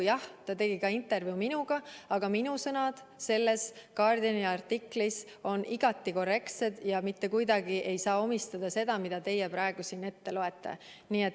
Jah, ta tegi intervjuu ka minuga, aga minu sõnad selles The Guardiani artiklis on igati korrektsed ja mitte kuidagi ei saa minule omistada seda, mida teie praegu siin ette loete.